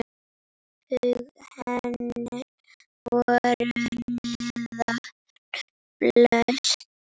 Högg hennar voru neðan beltis.